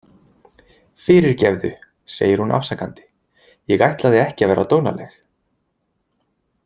Fyrirgefðu, segir hún afsakandi, „ég ætlaði ekki að vera dónaleg.